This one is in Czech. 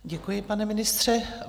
Děkuji, pane ministře.